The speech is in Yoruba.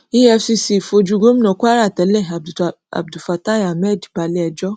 efcc fojú gómìnà kwara tẹlẹ abdulfatai ahmed balẹẹjọ